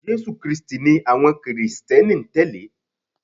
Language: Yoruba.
Jésù krístì ni àwọn krìsténi n tẹ̀lé